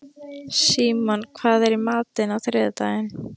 Símon, hvað er í matinn á þriðjudaginn?